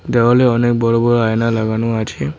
দেওয়ালে অনেক বড় বড় আয়না লাগানো আছে।